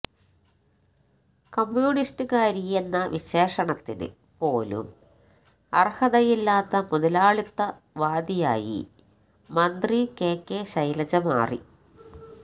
കമ്മ്യൂണിസ്റ്റ്കാരിയെന്ന വിശേഷണത്തിന് പോലും അർഹതയില്ലാത്ത മുതലാളിത്ത വാദിയായി മന്ത്രി കെ കെ ശൈലജ മാറി